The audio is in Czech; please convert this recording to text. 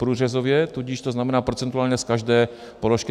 Průřezově, tudíž to znamená procentuálně z každé položky.